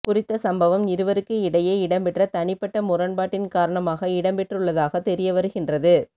குறித்த சம்பவம் இருவருக்கு இடையே இடம்பெற்ற தனிப்பட்ட முரண்பாட்டின் காரணமாக இடம்பெற்றுள்ளதாக தெரியவருகின்றது